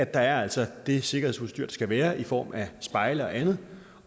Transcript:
der altså er det sikkerhedsudstyr der skal være i form af spejle og andet